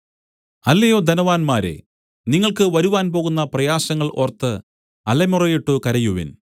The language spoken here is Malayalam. അല്ലയോ ധനവാന്മാരേ നിങ്ങൾക്ക് വരുവാൻ പോകുന്ന പ്രയാസങ്ങൾ ഓർത്ത് അലമുറയിട്ട് കരയുവിൻ